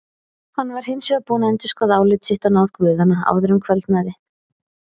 Hann var hins vegar búinn að endurskoða álit sitt á náð guðanna áður en kvöldaði.